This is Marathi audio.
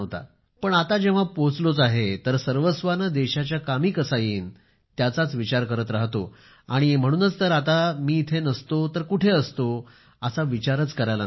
पण आता जेव्हा पोहोचलोच आहे तर सर्वस्वाने देशाच्या कामी कसा येईन त्याचाच विचार करत राहतो आणि म्हणूनच तर आता मी इथे नसतो तर कुठे असतो असा विचारच मला करायला नको